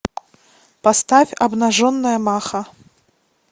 поставь обнаженная маха